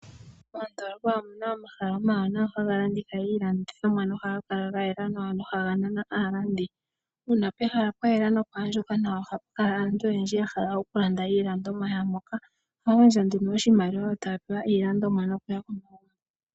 Mondoolopa omuna omahala omawanawa haga landitha iilandithomwa no haga kala ga yela nawa no haga nana aalandi. Uuna pehala pwa yela nopwa andjuka nawa ohapu kala aantu oyendji ya hala oku landa iilandomwa yaamoka. Ohaya gandja nduno oshimaliwa yo taya pewa iilandomwa no kuya.